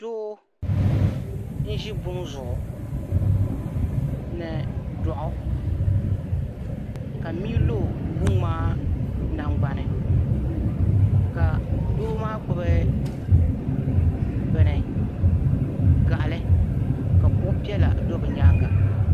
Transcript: Doo n zi buŋ' zuɣu ni dɔɣu ka mii lo buŋ' maa nangbani ka doo maa gbubi bɛni gaɣili ka kuɣu piɛlli do bɛ nyaaŋa